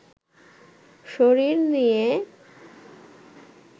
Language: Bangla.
শরীর নিয়ে